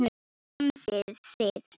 Dansið þið.